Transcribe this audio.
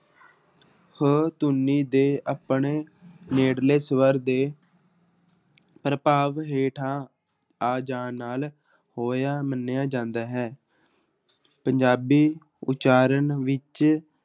ਹ ਧੁਨੀ ਦੇ ਆਪਣੇ ਨੇੜਲੇ ਸਵਰ ਦੇ ਪ੍ਰਭਾਵ ਹੇਠਾਂ ਆ ਜਾਣ ਨਾਲ ਹੋਇਆ ਮੰਨਿਆ ਜਾਂਦਾ ਹੈ ਪੰਜਾਬੀ ਉਚਾਰਨ ਵਿੱਚ